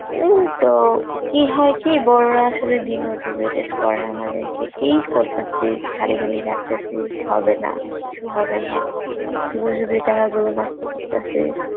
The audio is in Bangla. উম তো কী হয় কি বড়রা আসলে demotivated করে আমাদেরকে, কী করতাসিস, খালি খালি খাটতাসিস, হবে না কিছু হবে না শুধু শুধুই টাহাগুলো নষ্ট করতাছিস